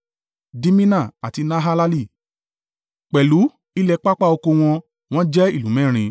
Dimina àti Nahalali, pẹ̀lú ilẹ̀ pápá oko wọn, wọ́n jẹ́ ìlú mẹ́rin.